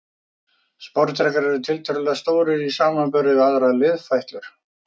Sporðdrekar eru tiltölulega stórir í samanburði við aðrar liðfætlur.